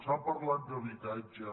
s’ha parlat d’habitatge